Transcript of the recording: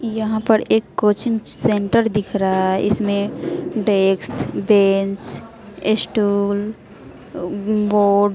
यहां पर एक कोचिंग सेंटर दिख रहा है इसमें डेक्स बेंच स्टूल ऊं बोर्ड --